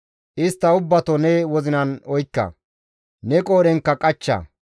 Istta ubbato ne wozinan oykka; ne qoodhenkka qachcha.